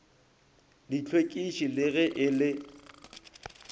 dihlwekiši le ge e le